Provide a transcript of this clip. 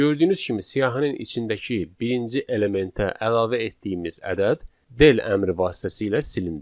Gördüyünüz kimi siyahının içindəki birinci elementə əlavə etdiyimiz ədəd del əmri vasitəsilə silindi.